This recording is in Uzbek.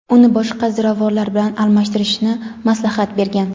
uni boshqa ziravorlar bilan almashtirishni maslahat bergan.